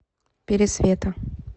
пересвета